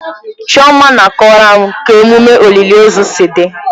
Chioma na-akọwara m ka emume olili ozu si dị.